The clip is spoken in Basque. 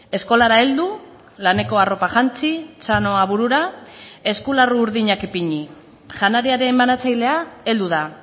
eskolara heldu laneko arropa jantzi txanoa burura eskularru urdinak ipini janariaren banatzailea heldu da